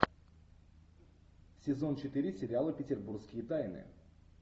сезон четыре сериала петербургские тайны